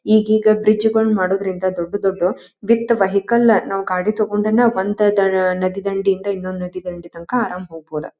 ಈಗೀಗ ಬ್ರಿಜ್ ಗೋಲನ್ ಮಾಡುದ್ರಿಂದ ದೊಡ್ಡ ದೊಡ್ಡ ವಿಥ್ ವೆಹಿಕಲ್ ನಾವ ಗಾಡ ತಗೊಂಡನ ಒಂದ ದ ನದಿ ದಂಡೆಯಿಂದ ಇನ್ನೊಂದು ನದಿ ದಂಡಿ ತನಕ ಆರಾಮ ಹೋಗ್ಬಹದ.